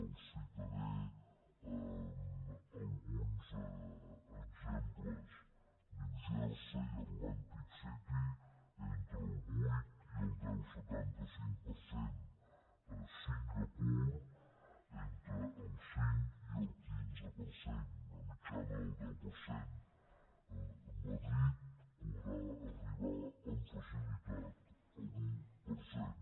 els citaré alguns exemples new jersey atlantic city entre el vuit i el deu coma setanta cinc per cent singapur entre el cinc i el quinze per cent una mitjana del deu per cent madrid podrà arribar amb facilitat a l’un per cent